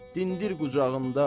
dindir qucağında.